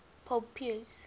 pope pius